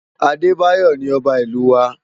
Abebayo ni òbá Ilú wá